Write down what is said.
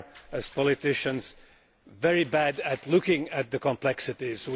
as politicians, are very bad at looking at the complexities.